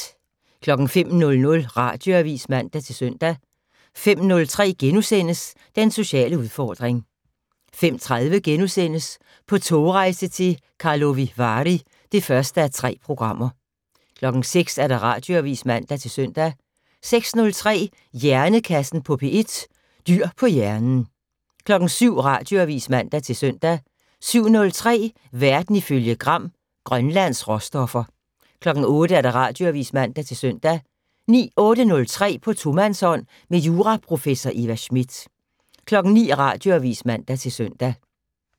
05:00: Radioavis (man-søn) 05:03: Den sociale udfordring * 05:30: På togrejse til Karlovy Vary (1:3)* 06:00: Radioavis (man-søn) 06:03: Hjernekassen på P1: Dyr på hjernen 07:00: Radioavis (man-søn) 07:03: Verden ifølge Gram: Grønlands råstoffer 08:00: Radioavis (man-søn) 08:03: På tomandshånd med juraprofessor Eva Smith 09:00: Radioavis (man-søn)